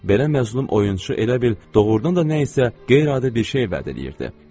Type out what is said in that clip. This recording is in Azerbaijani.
Belə məzlum oyunçu elə bil, doğrudan da nə isə qeyri-adi bir şey vəd eləyirdi.